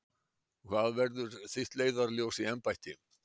Hvað verður þitt leiðarljós í embætti?